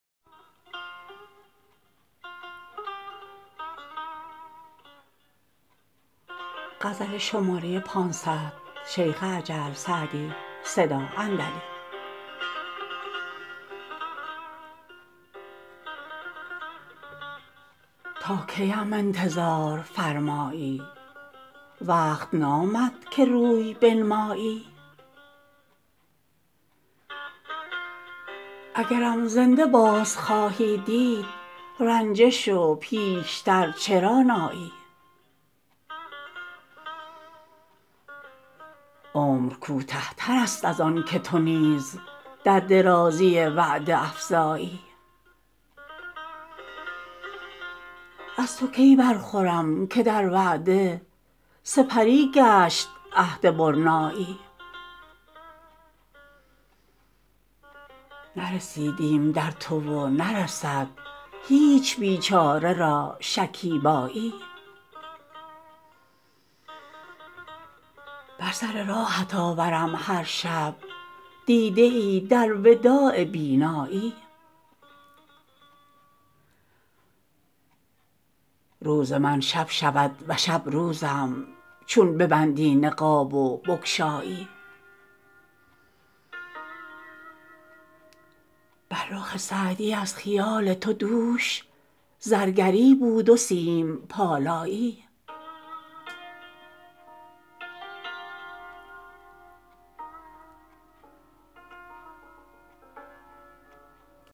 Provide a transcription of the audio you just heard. تا کی ام انتظار فرمایی وقت نامد که روی بنمایی اگرم زنده باز خواهی دید رنجه شو پیش تر چرا نایی عمر کوته تر است از آن که تو نیز در درازی وعده افزایی از تو کی برخورم که در وعده سپری گشت عهد برنایی نرسیدیم در تو و نرسد هیچ بیچاره را شکیبایی به سر راهت آورم هر شب دیده ای در وداع بینایی روز من شب شود و شب روزم چون ببندی نقاب و بگشایی بر رخ سعدی از خیال تو دوش زرگری بود و سیم پالایی